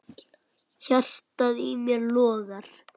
Hjartað í mér logar.